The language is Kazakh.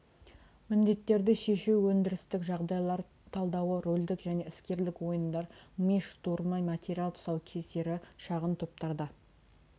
міндеттерді шешу өндірістік жағдайлар талдауы рөлдік және іскерлік ойындар ми штурмы материал тұсаукесері шағын топтарда